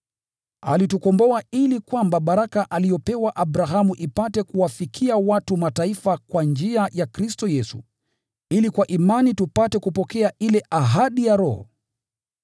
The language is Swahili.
Alitukomboa ili kwamba baraka aliyopewa Abrahamu ipate kuwafikia watu wa Mataifa kwa njia ya Kristo Yesu, ili kwa imani tupate kupokea ile ahadi ya Roho.